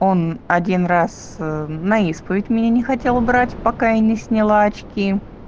он один раз на исповедь меня не хотел брать пока я не сняла очки